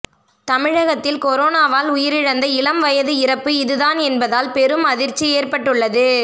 தமிழகத்தில் கொரோனாவால் உயிரிழந்த இளம்வயது இறப்பு இதுதான் என்பதால் பெரும் அதிர்ச்சி ஏற்பட்டுள்ளது